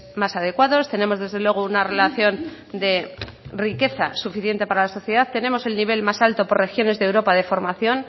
más adecuados tenemos desde luego una relación de riqueza suficiente para la sociedad tenemos el nivel más alta por regiones de europa de formación